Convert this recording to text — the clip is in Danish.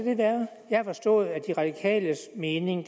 være jeg har forstået at de radikales mening